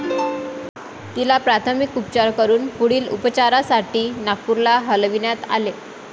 तिला प्राथमिक उपचार करून पुढील उपचारासाठी नागपूरला हलविण्यात आले.